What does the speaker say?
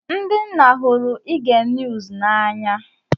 Ndị nna hụrụ ige niuz na anya.